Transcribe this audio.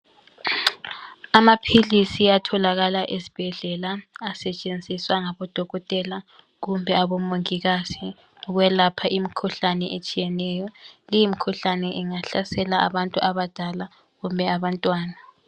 Amaphilisi atholakala esibhedlela, asetshenziswa ngabodokotela kumbe abomongikazi ukwelapha imikhuhlane etshiyeneyo li mikhuhlane ingahlasela abadala kumbe abantwana.